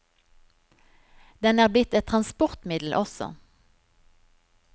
Den er blitt et transportmiddel også.